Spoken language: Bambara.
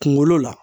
Kunkolo la